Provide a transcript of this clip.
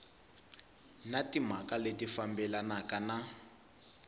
na timhaka leti fambelanaka na